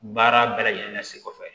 Baara bɛɛ lajɛlen sen kɔfɛ